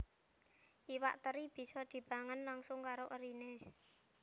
Iwak teri bisa dipangan langsung karo eriné